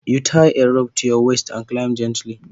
Igiya za ka ɗaura a ƙugunka kayita hawa a hankali